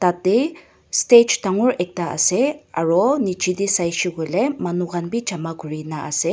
yatae stage dangor ekta ase aro nichae tae saishey koilae manu khan bi jama kurina ase--